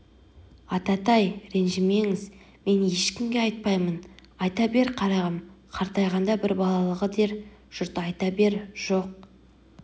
ататай ренжімеңіз мен ешкімге айтпаймын айта бер қарағым қартайғанда бір балалығы дер жұрт айта бер жоқ